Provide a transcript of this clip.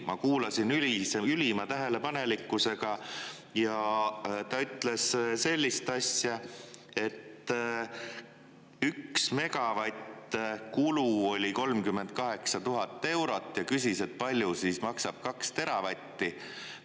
Ma kuulasin ülima tähelepanelikkusega ja ta ütles sellist asja, et üks megavatt kulu oli 38 000 eurot, ja küsis, palju maksab kaks teravatti.